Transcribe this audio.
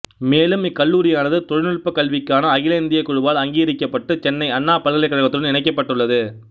மேலும் இக்கல்லூரியானது தொழில்நுட்ப கல்விக்கான அகில இந்தியக் குழுவால் அங்கீகரிக்கப்பட்டு சென்னை அண்ணா பல்கலைக்கழகத்துடன் இணைக்கப்பட்டுள்ளது